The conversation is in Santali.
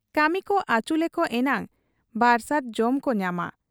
ᱠᱟᱹᱢᱤᱠᱚ ᱟᱹᱪᱩᱞᱮᱠᱚ ᱮᱱᱟᱝ ᱵᱟᱨᱥᱟᱸᱡᱽ ᱡᱚᱢᱠᱚ ᱧᱟᱢᱟ ᱾